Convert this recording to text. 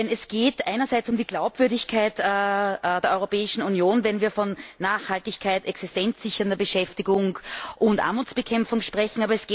Denn es geht einerseits um die Glaubwürdigkeit der Europäischen Union, wenn wir von Nachhaltigkeit, existenzsichernder Beschäftigung und Armutsbekämpfung sprechen.